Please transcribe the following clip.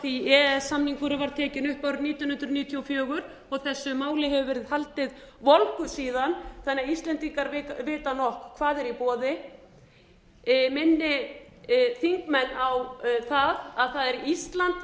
því að e e s samningurinn var tekinn upp árið nítján hundruð níutíu og fjögur þessu máli hefur verið haldið volgu síðan þannig að íslendingar vita nokk hvað er í boði ég minni þingmenn á það að það er ísland